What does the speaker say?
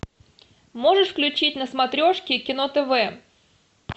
можешь включить на смотрешке кино тв